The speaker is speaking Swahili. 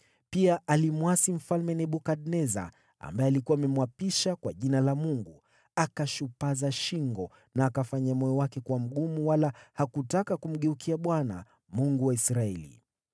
Pia alimwasi Mfalme Nebukadneza, ambaye alikuwa amemwapisha kwa jina la Mungu. Akashupaza shingo na akafanya moyo wake kuwa mgumu wala hakutaka kumgeukia Bwana , Mungu wa Israeli.